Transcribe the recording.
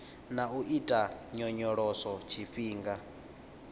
na u ita nyonyoloso tshifhinga